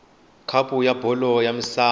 khapu ya bolo ya misava